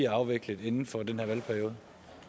afviklet inden for den her valgperiode